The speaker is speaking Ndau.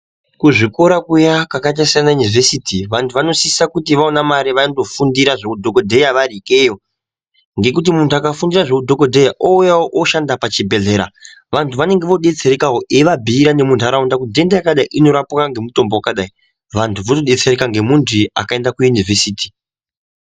Kuzvikora kuya kwakaita sana Univhesiti vanthu vanosisa kuti vaona mari vandofundira zveu dhokodheya variikweyo ngekuti munthu akafundira zveudhokodheya ouya oshanda pachibhedhlera vanthu vanenge vodetserekawo eivabhuira nemuntaraunda kuti nhenda yakadai inorapwa ngemutombo yakadai vanthu votodetsereka ngemunthu wakaenda kuUnivhesiti.